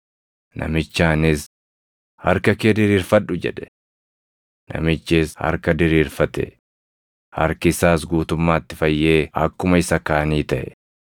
Namichaanis, “Harka kee diriirfadhu” jedhe. Namichis harka diriirfate; harki isaas guutummaatti fayyee akkuma isa kaanii taʼe.